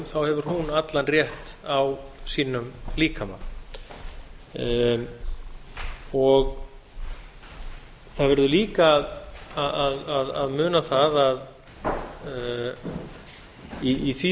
þá hefur hún allar rétt á sínum líkama það verður lána að muna það að í því